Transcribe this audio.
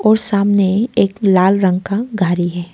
और सामने एक लाल रंग का गाड़ी है।